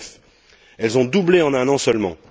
2009. Elles ont doublé en un an seulement.